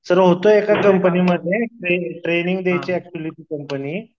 sir होतो एका कंपनीमध्ये ट्रेडिंग कंपनी